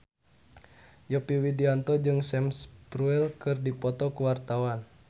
Yovie Widianto jeung Sam Spruell keur dipoto ku wartawan